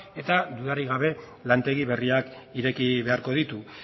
eta dudarik gabe lantegi berriak ireki beharko ditu